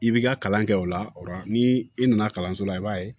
I b'i ka kalan kɛ o la ni i nana kalanso la i b'a ye